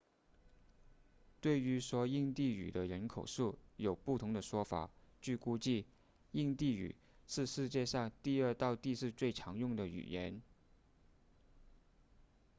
对于说印地语的人口数有不同的说法据估计印地语是世界上第二到第四最常用的语言